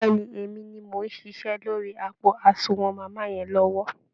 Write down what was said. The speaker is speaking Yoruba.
Bẹ́ẹ̀ ni, Èmi ni mò ń ṣiṣẹ́ lórí àpò àsunwọ̀n màmá yẹn lọ́wọ́